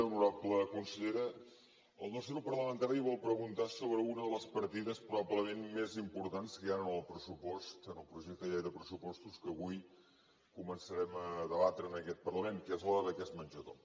honorable consellera el nostre grup parlamentari vol preguntar sobre una de les partides probablement més importants que hi han en el pressupost en el projecte de llei de pressupostos que avui començarem a debatre en aquest parlament que és la de beques menjador